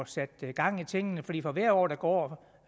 sat gang i tingene fordi for hvert år der går